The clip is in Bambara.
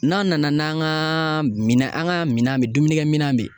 N'a nana n'an ka minɛn an ka minɛn bɛ dumuni kɛ minɛn bɛ yen